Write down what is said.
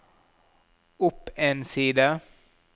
opp en side